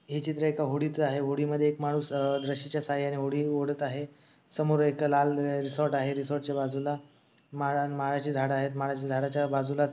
हे चित्र एका होडिच आहे. होडीमध्ये एक माणूस रस्सीच्या सहाय्याने होडी ओढत आहे. समोर एक लाल रिसॉर्ट आहे. रिसॉर्ट च्या बाजूला माळाचे झाड आहेत. माळाच्या झाडाच्या बाजूलाच --